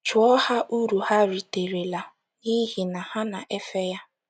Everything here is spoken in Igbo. Jụọ ha uru ha riterela n’ihi na ha na - efe ya.